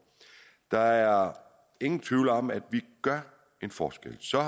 der er ingen tvivl om at vi gør en forskel så er